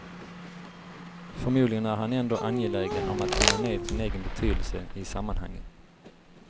Förmodligen är han ändå angelägen om att tona ned sin egen betydelse i sammanhanget.